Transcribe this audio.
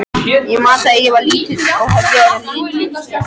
Ég man að þegar ég var lítill höfðu orðin lit.